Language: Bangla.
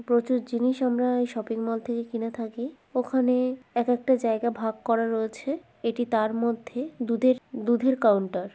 প্রচুর জিনিস আমরা শপিং মল থেকে কিনে থাকি। ওখানে এক একটা জায়গা ভাগ করা রয়েছে। এটি তার মধ্যে দুধের দুধ এর কাউন্টার ।